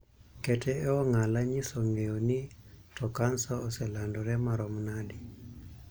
Kete e ong'ala nyiso ng'eyo ni to kansa oselandore marom nade.